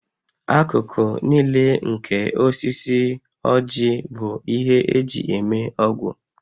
Akụkụ niile nke osisi ójì bụ ihe eji eme ọgwụ